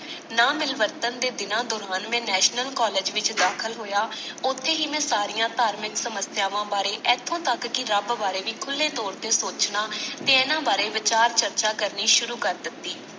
ਨਾ ਮਿਲਵਰਤਣ ਦੇ ਦਿਨਾਂ ਦੌਰਾਨ ਮੈਂ National college ਵਿਚ ਦਾਖ਼ਲ ਹੋਇਆ, ਉੱਥੇ ਹੀ ਮੈਂ ਸਾਰੀਆਂ ਧਾਰਮਿਕ ਸਮੱਸਿਆਵਾਂ ਬਾਰੇ, ਇਥੋਂ ਤੱਕ ਕਿ ਰੱਬ ਬਾਰੇ ਵੀ ਖੁੱਲੇ ਤੌਰ ਤੇ ਸੋਚਣਾ ਤੋਂ ਇਹਨਾਂ ਬਾਰੇ ਵਿਚਾਰ ਚਰਚਾ ਕਰਨੀ ਸ਼ੁਰੂ ਕਰ ਦਿੱਤੀ।